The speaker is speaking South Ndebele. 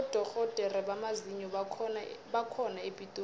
abodorhodere bamazinyo bakhona epitori